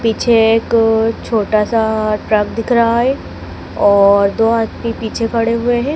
पीछे एक छोटा सा ट्रक दिख रहा है और दो आदमी पीछे खड़े हुए हैं।